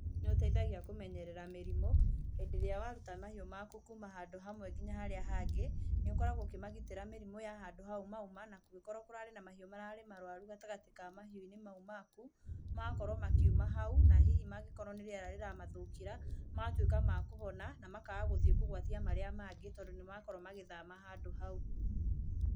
Nĩ ũteithagia kũmenyerera mĩrimũ, hĩndĩ ĩrĩa waruta mahiũ maku kuuma handũ hamwe nginya harĩa hangĩ, nĩ ũkoragwo ũkĩmagitĩra mĩrimũ ya handũ hau mauma, na kũngĩkorwo kũrarĩ na mahiũ mararĩ maruaru gatagatĩ ka mahiũ mau maku, magakorwo makiuma haũ, na hihi mangĩkorwo nĩ rĩera rĩramathũkĩra, magatuĩka ma kũhona, na makaga gũthiĩ kũgwatia marĩa mangĩ tondũ nĩ makorwo magĩthama handũ hau.